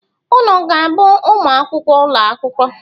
Unu ga-abụ ụmụ akwụkwọ ụlọ akwụkwọ?